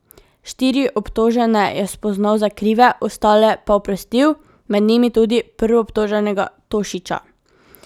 Štiri obtožene je spoznal za krive, ostale pa oprostil, med njimi tudi prvoobtoženega Tošića.